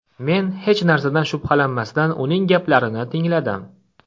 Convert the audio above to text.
Men hech narsadan shubhalanmasdan uning gaplarini tingladim.